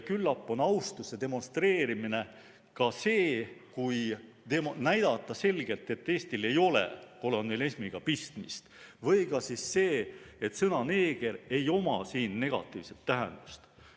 Küllap on austuse demonstreerimine ka see, kui näidata selgelt, et Eestil ei ole kolonialismiga pistmist, või siis see, et sõnal "neeger" ei ole siin negatiivset tähendust.